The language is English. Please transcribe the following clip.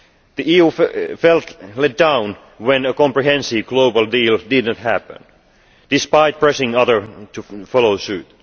The EU felt let down when a comprehensive global deal did not happen, despite pressing others to follow suit.